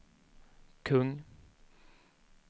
kung